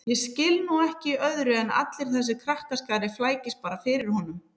Ég skil nú ekki í öðru en allur þessi krakkaskari flækist bara fyrir honum